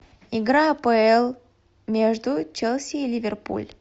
игра апл между челси и ливерпуль